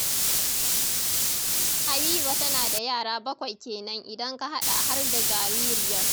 Habiba tana da yara bakwai kenan idan ka haɗa har da jaririyar